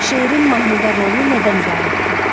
Şeirin mahnıda rolu nədən ibarətdir?